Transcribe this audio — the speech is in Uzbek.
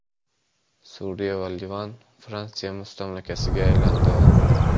Suriya va Livan Fransiya mustamlakasiga aylandi.